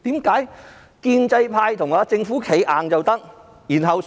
建制派為何可以為政府"企硬"？